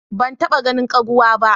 Ban taba ganin ƙaguwa ba.